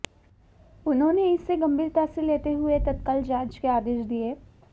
उन्होने इसे गंभीरता से लेते हुए तत्काल जांच के आदेश दिए